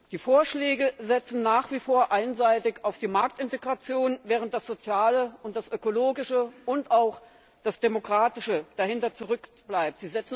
Die Vorschläge setzen nach wie vor einseitig auf die Marktintegration, während das Soziale und das Ökologische und auch das Demokratische dahinter zurückbleiben.